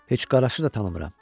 "Heç Qaraşı da tanımıram."